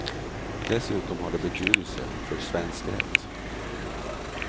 Dessutom har det betydelse för svensk rätt.